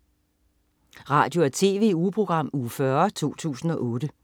Radio- og TV-ugeprogram Uge 40, 2008